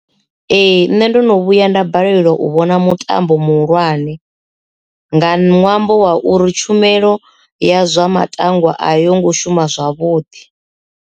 Ee, nṋe ndo no vhuya nda balelwa u vhona mutambo muhulwane nga nwambo wa uri tshumelo ya zwa matano a yo ngo shuma zwavhuḓi.